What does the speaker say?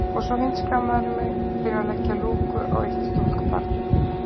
Og svo hundskammarðu mig fyrir að leggja lúku á eitt stúlkubarn.